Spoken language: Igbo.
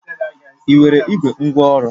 Ị nwere igbe ngwaọrụ?